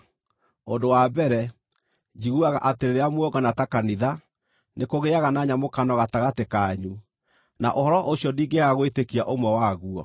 Ũndũ wa mbere, njiguaga atĩ rĩrĩa muongana ta kanitha, nĩkũgĩaga na nyamũkano gatagatĩ kanyu, na ũhoro ũcio ndingĩaga gwĩtĩkia ũmwe waguo.